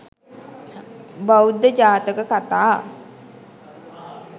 බෞද්ධ ජාතක කථා